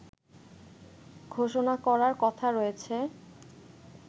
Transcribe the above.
ঘোষণা করার কথা রয়েছে